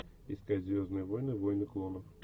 искать звездные войны войны клонов